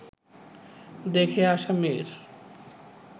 দেখে আসা মেয়ের